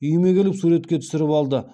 үйіме келіп суретке түсіріп алды